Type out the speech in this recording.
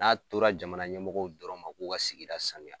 N'a tora jamana ɲɛmɔgɔw dɔrɔn ma k'u ka sigida sanuya.